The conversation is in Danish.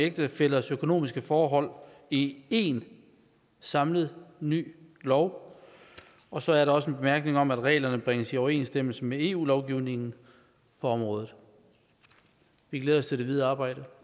ægtefællers økonomiske forhold i én samlet ny lov og så er der også en bemærkning om at reglerne bringes i overensstemmelse med eu lovgivningen på området vi glæder os til det videre arbejde